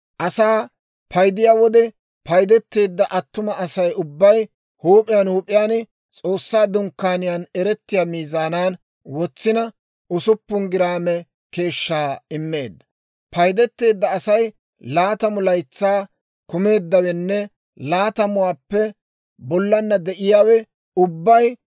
Asaa paydiyaa wode paydetteedda attuma Asay ubbay huup'iyaan huup'iyaan S'oossaa Dunkkaaniyaan eretiyaa miizaanan wotsina, usuppun giraame keeshshaa immeedda. Paydeteedda Asay laatamu laytsaa kumeeddawenne laatamuwaappe bollana de'iyaawe ubbay 603,550.